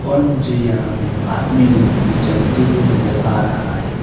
और मुझे यहाँ में आदमी लोग भी चलते हुए नजर आ रहा है।